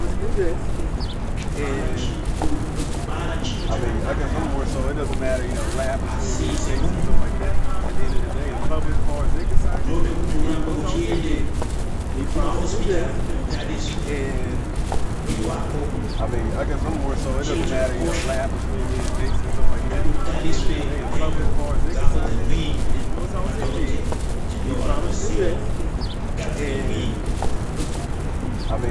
Kubara chiro chakanaka yamho asi semunhu unode kuti urambe uchienda kumahosipitari kuti utariswe mwiri wako chiro chakakosha kuti utariswe nhengondzako dzemwiri nemadhokotera nokuti ndiwo anoziye kugadzira mwiri wemuntu.